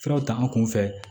Furaw ta an kun fɛ